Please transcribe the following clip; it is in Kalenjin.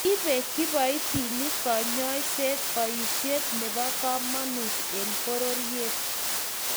ibe kiboitinikab kanyoisiet boisiet nebo kamanut eng' bororiet